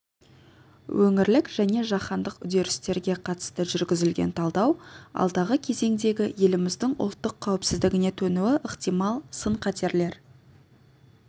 өңірлік және жаһандық үдерістерге қатысты жүргізілген талдау алдағы кезеңдегі еліміздің ұлттық қауіпсіздігіне төнуі ықтимал сын-қатерлер